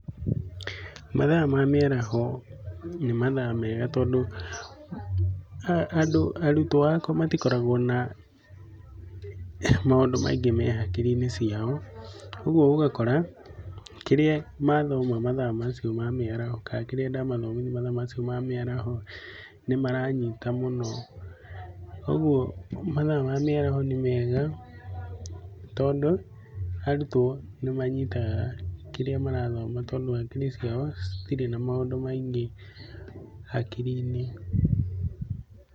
Mathaa ma mĩaraho nĩ mathaa mega tondũ andũ, arutwo akwa matikoragwo na maũndũ maingĩ me hakiri-inĩ ciao. Ũguo ũgakora kĩrĩa mathoma mathaa macio ma mĩaraho, kana kĩrĩa ndamathomithia mathaa macio ma mĩaraho nĩ maranyita mũno. Ũguo mathaa ma mĩaraho nĩ mega tondũ arutwo nĩ manyitaga kĩrĩa marathoma tondũ hakiri ciao citirĩ na maũndũ maingĩ hakiri-inĩ.